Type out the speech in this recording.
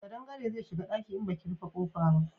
Kadangare zai shiga daki in baki rufe kofa ba